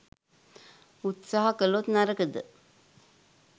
උත්සහ කලොත් නරකද?